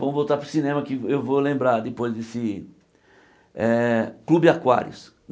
Vamos voltar para o cinema, que eu vou lembrar depois desse eh... Clube Aquários.